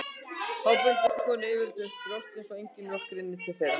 Þá bundu konur yfirleitt upp brjóstin svo engin mjólk rynni til þeirra.